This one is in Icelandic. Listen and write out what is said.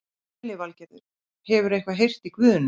Lillý Valgerður: Hefurðu eitthvað heyrt í Guðna?